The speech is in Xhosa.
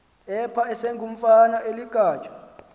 apha esengumfana oligatya